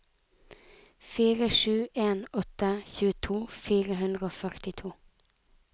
fire sju en åtte tjueto fire hundre og førtito